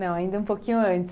Não, ainda um pouquinho antes.